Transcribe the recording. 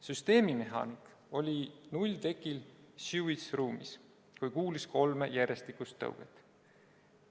Süsteemimehaanik oli nulltekil sewage-ruumis, kui kuulis kolme järjestikust tõuget.